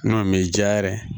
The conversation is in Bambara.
N'o me diya yɛrɛ